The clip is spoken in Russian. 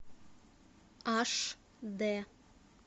аш д